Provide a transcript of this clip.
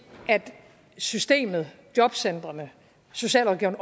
at systemet jobcentrene socialrådgiverne